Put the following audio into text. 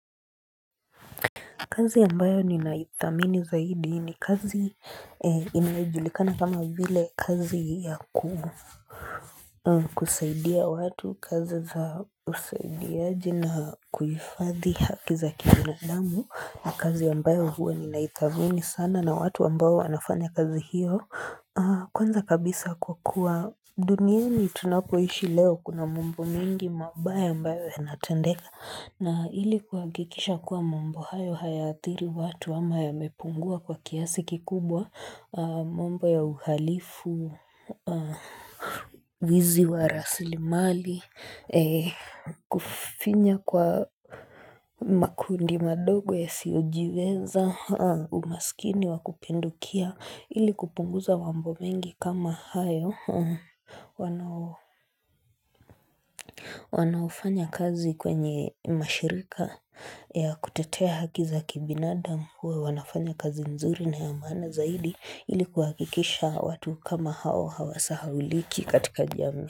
Kazi ambayo ninaithamini zaidi ni kazi inajulikana kama vile kazi ya kusaidia watu. Kazi za usaidiaji na kuhifadhi haki za kibinadamu ni kazi ambayo huwa ninaithamini sana na watu ambao wanafanya kazi hiyo Kwanza kabisa kwa kuwa duniani tunapoishi leo kuna mambo mengi mabaya ambayo yanatendeka na ili kuhakikisha kuwa mambo hayo hayathiri watu ama yamepungua kwa kiasi kikubwa, mambo ya uhalifu Wizi wa rasilimali, kufinya kwa makundi madogo yasiyojiweza Umasikini wakupindukia. Ili kupunguza mambo mengi kama hayo wanaofanya kazi kwenye mashirika ya kutetea haki za kibinadam, huwa wanafanya kazi nzuri na ya maana zaidi ili kuhakikisha watu kama hao hawasahauliki katika jamii.